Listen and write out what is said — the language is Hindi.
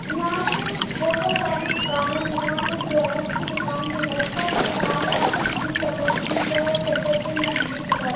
यहां पे बहुत सारी दुकानें हैं यहां पे गैरेज की दुकान भी है सब दुकाने यहां पे ब्लू कलर की छे और शटर पे ब्लू कलर --